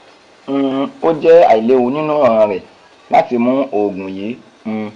um o jẹ ailewu ninu ọran rẹ lati mu oogun yii um